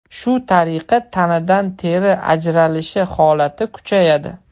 Shu tariqa, tanadan teri ajralishi holati kuchayadi.